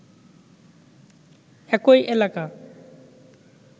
একই এলাকা